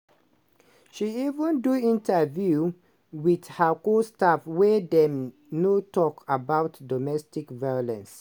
she even do interview wit her co-stars wey dem no tok about domestic violence.